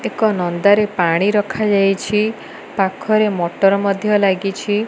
ଏକ ନନ୍ଦା ରେ ପାଣି ରଖାଯାଇଛି। ପାଖରେ ମଟର ମଧ୍ୟ ଲାଗିଛି।